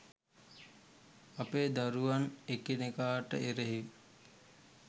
අපේ දරුවන් එකිනෙකාට එරෙහිව